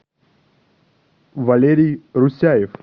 валерий русяев